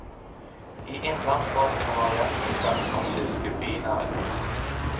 I innlandsstrøkene var jakt og ferskvannsfiske binæringer.